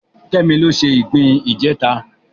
Kemi ló se ìgbín ìjẹta